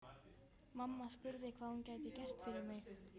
Mamma spurði hvað hún gæti gert fyrir mig.